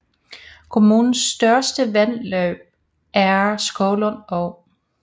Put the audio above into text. Kommunens største vandløb er Skovlund Å